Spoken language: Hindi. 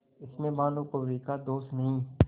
इसमें भानुकुँवरि का दोष नहीं